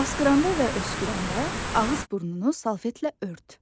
Asqıranda və öskürəndə ağız burnunu salfetlə ört.